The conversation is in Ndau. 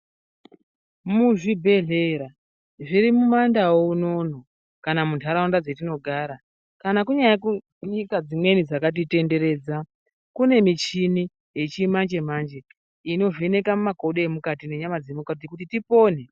Muzvibhedhlera, zviri mumandau unono, kana muntaraunda dzetinogara, kana kunyari kunyika dzimweni dzakatitenderedza, kune michini yechimanje-manje inovheneka mumakodo emukati nenyama dzemukati kuti tipone.